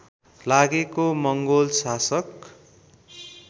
लागेको मङ्गोल शासक